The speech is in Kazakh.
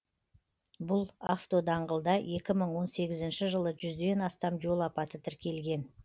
бұл автодаңғылда екі мың он сегізінші жылы жүзден астам жол апаты тіркелген